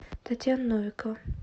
татьяна новикова